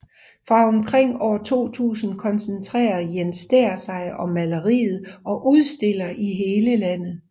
Fra omkring år 2000 koncentrerer Jess Stæhr sig om maleriet og udstiller i hele landet